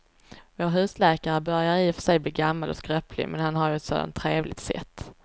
Vår husläkare börjar i och för sig bli gammal och skröplig, men han har ju ett sådant trevligt sätt!